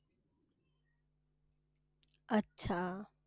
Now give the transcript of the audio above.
अच्छा.